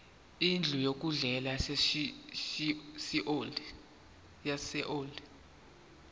indlu yokudlela yaseold